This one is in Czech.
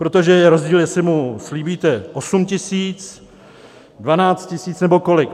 Protože je rozdíl, jestli mu slíbíte osm tisíc, dvanáct tisíc nebo kolik.